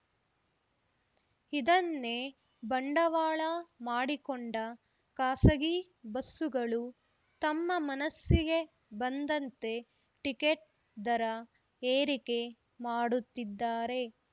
ಇದನ್ನೇ ಬಂಡವಾಳ ಮಾಡಿಕೊಂಡ ಖಾಸಗಿ ಬಸ್ಸುಗಳು ತಮ್ಮ ಮನಸ್ಸಿಗೆ ಬಂದಂತೆ ಟಿಕೆಟ್‌ ದರ ಏರಿಕೆ ಮಾಡುತಿದ್ದಾರೆ